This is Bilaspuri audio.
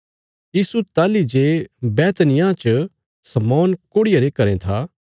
यीशु ताहली जे बैतनिय्याह गाँवा च शमौन कोढ़िये रे घरें था